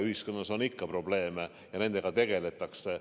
Ühiskonnas on ikka probleeme ja nendega tegeldakse.